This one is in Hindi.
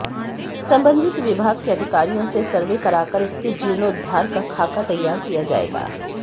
संबंधित विभाग के अधिकारियों से सर्वे कराकर इसके जीर्णोद्धार का खाका तैयार किया जाएगा